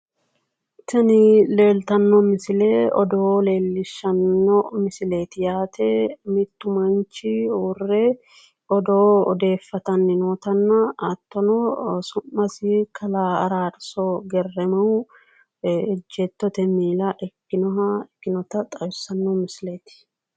Tini leellittano misile odoo leellishano ,mittu odoo odeessani nootta isino Kalaa Araarso Gerremuha ikkano